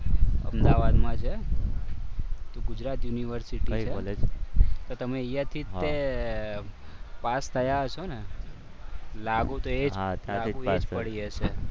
અમદાવાદમાં છે તે ગુજરાત યુનિવર્સિટી છે તો તમે અહીંયા જે તે પાસ થયા છો ને લાગુ તો એ જ પડી હશે.